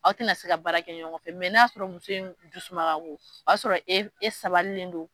Aw tɛna se ka baara kɛ ɲɔgɔn fɛ, n'a y'a sɔrɔ muso in dusuma ka go, o y'a sɔrɔ e e sabalilen don.